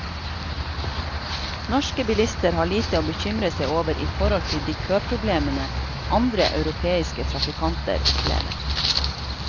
Norske bilister har lite å bekymre seg over i forhold til de køproblemene andre europeiske trafikanter opplever.